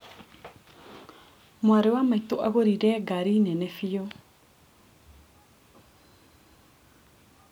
Mwarĩ wa maĩtũ agũrire ngari nene bĩu.